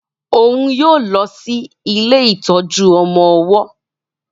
òún yóò lọ si ilé ìtọjú ọmọ ọwó.